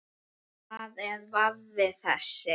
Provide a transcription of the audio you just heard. Hvar er varða þessi?